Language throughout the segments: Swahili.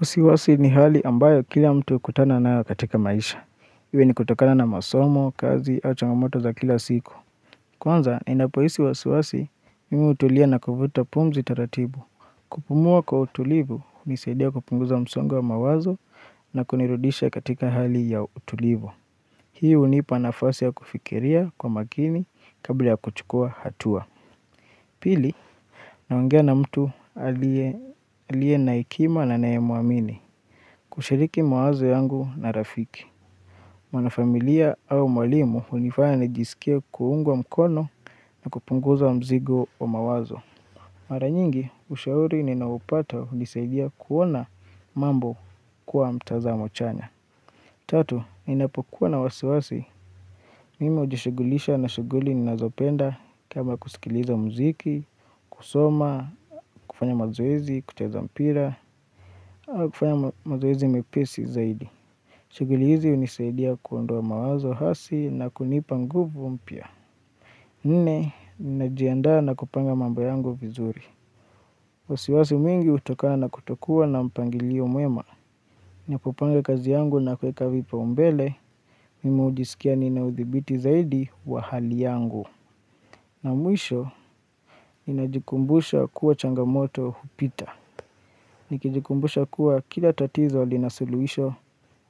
Wasiwasi ni hali ambayo kila mtu hukutana nayo katika maisha. Iwe ni kutokana na masomo, kazi, au changamoto za kila siku. Kwanza, ninapohisi wasiwasi, mimi hutulia na kuvuta pumzi taratibu. Kupumua kwa utulivu, hunisadia kupunguza msongo wa mawazo na kunirudisha katika hali ya utulivu. Hii hunipa nafasi ya kufikiria kwa makini kabla ya kuchukua hatua. Pili, naongea na mtu aliye na hekima na naye muamini. Kushiriki mawazo yangu na rafiki. Mwanafamilia au mwalimu hunifanya nijisikie kuungwa mkono na kupunguza mzigo wa mawazo. Maranyingi, ushauri ninaopata hunisaidia kuona mambo kuwa mtazamo chanya. Tatu, ninapokuwa na wasiwasi. Mimi ujishughulisha na shughuli ninazopenda kama kusikiliza muziki, kusoma, kufanya mazoezi, kucheza mpira, au kufanya mazoezi mepesi zaidi. Shughuli hizi hunisaidia kuondoa mawazo hasi na kunipa nguvu mpya. Nne, ninajiandaa na kupanga mambo yangu vizuri. Wasiwasi mwingi hutokana na kutokua na mpangilio mwema. Nina popanga kazi yangu na kuweka vipaumbele. Mimu hujisikia ninaudhibiti zaidi wa hali yangu. Na mwisho, ninajikumbusha kuwa changamoto hupita. Nikijikumbusha kuwa kila tatizo lina suluhisho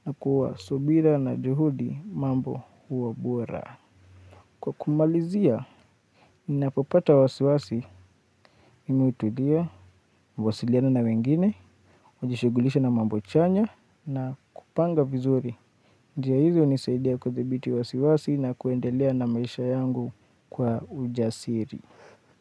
na kuwa subira na juhudi mambo huwa bora. Kwa kumalizia, nina popata wasiwasi mimi hutulia, huwasiliana na wengine, hujishughulisha na mambo chanya na kupanga vizuri. Njia hizo hunisaidia kudhibiti wasiwasi na kuendelea na maisha yangu kwa ujasiri.